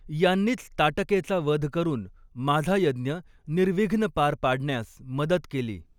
यांनीच ताटकेचा वध करून माझा यज्ञ निर्विघ्न पार पाडण्यास मदत केली.